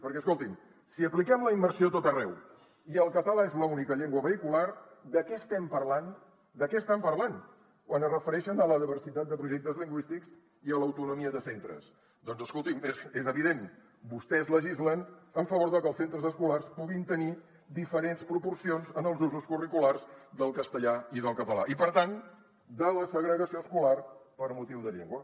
perquè escoltin si apliquem la immersió a tot arreu i el català és l’única llengua vehicular de què estem parlant de què estan parlant quan es refereixen a la diversitat de projectes lingüístics i a l’autonomia de centres doncs escolti’m és evident vostès legislen en favor de que els centres escolars puguin tenir diferents proporcions en els usos curriculars del castellà i del català i per tant de la segregació escolar per motiu de llengua